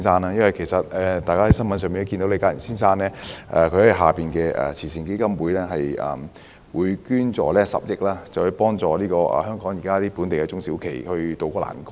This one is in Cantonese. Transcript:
大家從新聞報道中應已得悉，李嘉誠先生旗下的基金會，捐助10億元幫助香港本地中小型企業渡過難關。